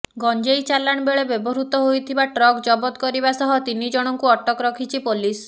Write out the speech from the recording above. ଗଞ୍ଜେଇ ଚାଲାଣ ବେଳେ ବ୍ୟବହୃତ ହୋଇଥିବା ଟ୍ରକ୍ ଜବତ କରିବା ସହ ତିନି ଜଣଙ୍କୁ ଅଟକ ରଖିଛି ପୋଲିସ